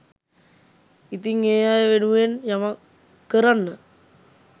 ඉතිං ඒ අය වෙනුවෙන් යමක් කරන්න